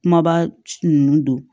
Kumaba ninnu don